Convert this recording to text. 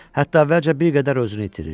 Hətta əvvəlcə bir qədər özünü itirir.